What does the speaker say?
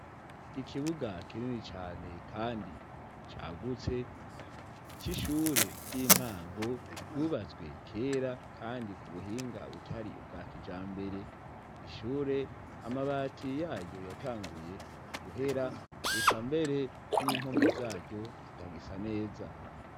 Ikibuga kinini cane kandi cagutse, c'ishure ry'intango, ryubatswe kera kandi ku buhinga butari ubwa kijambere. Ni ishure amabati ya ryo yatanguye guhera, ekambere n'impome za ryo zitagisa neza.